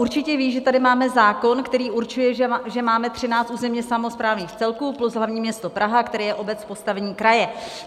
Určitě ví, že tady máme zákon, který určuje, že máme 13 územně samosprávných celků plus hlavní město Praha, které je obec v postavení kraje.